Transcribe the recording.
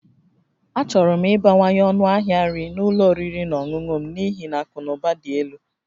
Achọrọ m ịbawanye ọnụ ahịa nri na ụlọ oriri na ọṅụṅụ m n'ihi na akụ na ụba dị elu